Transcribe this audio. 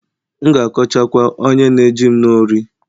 M'gākọcha kwa onye nējim n'ori